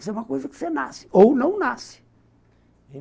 Isso é uma coisa que você nasce, ou não nasce.